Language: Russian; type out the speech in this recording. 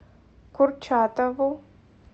курчатову